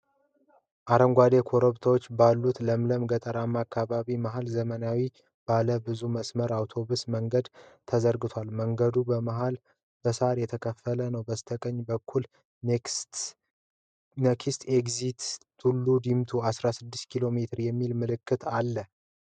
አረንጓዴ ኮረብታዎች ባሉበት ለምለም ገጠራማ አካባቢ መሃል ዘመናዊ ባለ ብዙ መስመር አውቶብስ መንገድ ተዘርግቷል። መንገዱ በመሀል በሣር የተከፋፈለ ነው። በስተቀኝ በኩል 'ኔክስት ኤግዚት ቱሉ ዲምቱ 16 ኪ.ሜ' የሚል ምልክት አለ።